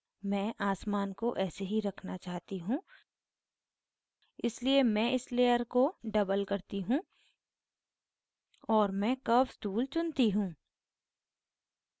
मैं आसमान को ऐसे ही रखना चाहती choose इसलिए मैं इस layer को double करती choose और मैं curves tool चुनती choose